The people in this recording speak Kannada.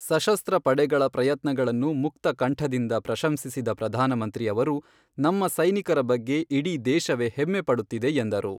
ಸಶಸ್ತ್ರ ಪಡೆಗಳ ಪ್ರಯತ್ನಗಳನ್ನು ಮುಕ್ತ ಕಂಠದಿಂದ ಪ್ರಶಂಸಿಸಿದ ಪ್ರಧಾನಮಂತ್ರಿ ಅವರು ನಮ್ಮ ಸೈನಿಕರ ಬಗ್ಗೆ ಇಡೀ ದೇಶವೇ ಹೆಮ್ಮೆ ಪಡುತ್ತಿದೆ ಎಂದರು.